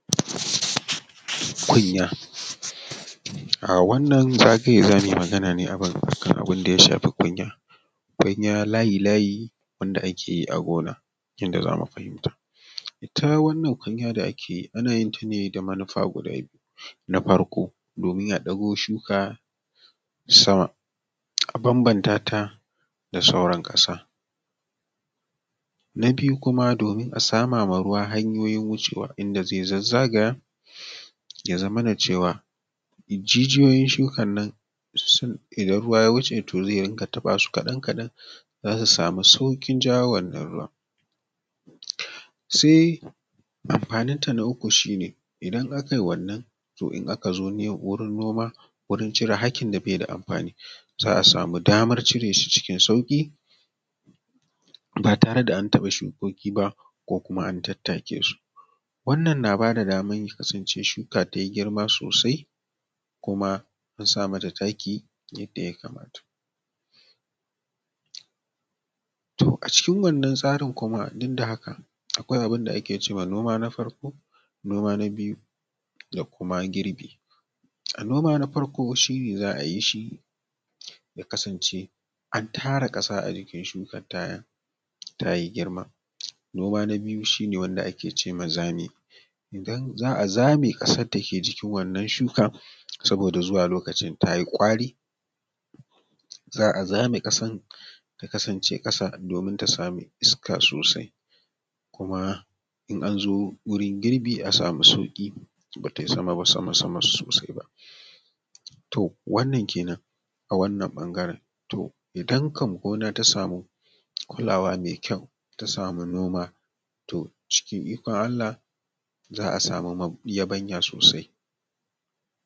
Kunya, wannan zagaye zamu yi magana ne akan abinda ya shafi kunya-kunya, layi-layi ne wanda ake a gona yadda zamu fahimta ita wannan kunya da yake ana yin ta ne da manufa guda biyu, na farko domin ya ɗago shuka sama a banbanta ta da sauran kasa, na biyu kuma domin a sama ruwa hanyoyin wucewa da zai zazzagaya ya zama na cewa jijiyoyin shukan nan sun shiga idan ruwa ya wuce su zai dunga taba su kaɗan-kaɗan zasu samu saukin jawo wannan ruwan, sai amfanin ta na uku shi ne idan akai wannan to in aka zo wurin noma wurin cire hakin da bai da amfani za a samu daman ciresu cikin sauki batare da an taɓa shukoki ba ko kuma an tattake su, wannan na bada daman kasance shuka tayi girma sosai kuma a sa mata taki yadda ya kamata, to a cikin wannan tsarin kuma duk da haka akwai abinda ake cema noma na farko noma na biyu da kuma girbi, noma na farko shi ne za ayi shi ya kasance an tara kasa a jikin shukan ta yanda tayi girma, noma na biyu shi ne wanda ake cema zame idan za a zame ƙasan dake jikin wannan shukan saboda zuwa lokacin tayi ƙwari za a zame ƙasar ta kasance kasa domin ta samu iska sosai kuma in anzo yin girbi a samu sauki batai sama sosai ba to wannan kenan a wannan bangaren, to idan kam gona ta samu kulawa ma mai kyau ta samu noma to cikin ikon allah za a samu yabanya sosai.